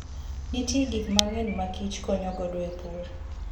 Nitie gik mang'eny ma kich konyo godo e pur.